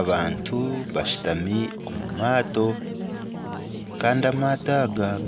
Abantu bashutami omu maato, kandi aga amaato